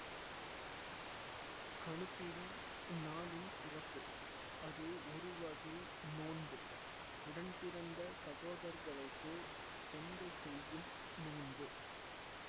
கணுப்பிடி இந்நாளின் சிறப்பு அது ஒருவகை நோன்பு உடன்பிறந்த சகோதரர்களுக்காக பெண்கள் செய்யும் நோன்பு